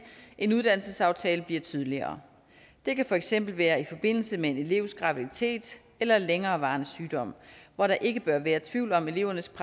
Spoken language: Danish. en uddannelsesaftale tydeligere det kan for eksempel være i forbindelse med en elevs graviditet eller længerevarende sygdom hvor der ikke bør være tvivl om elevernes